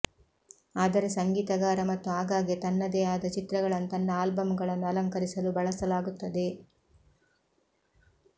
ಆದರೆ ಸಂಗೀತಗಾರ ಮತ್ತು ಆಗಾಗ್ಗೆ ತನ್ನದೇ ಆದ ಚಿತ್ರಗಳನ್ನು ತನ್ನ ಆಲ್ಬಂಗಳನ್ನು ಅಲಂಕರಿಸಲು ಬಳಸಲಾಗುತ್ತದೆ